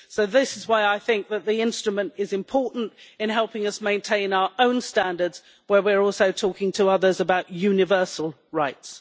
So this is why I think that the instrument is important in helping us maintain our own standards where we're also talking to others about universal rights.